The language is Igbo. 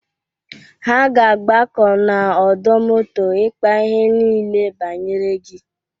Ha ga-agbakọ n'ọdọ moto ịkpa ihe niile banyere gi.